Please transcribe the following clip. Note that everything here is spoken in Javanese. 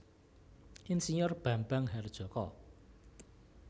Ir Bambang Harjoko